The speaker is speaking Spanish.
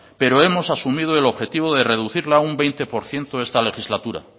pero hemos asumido el objetivo de reducirla un veinte por ciento esta legislatura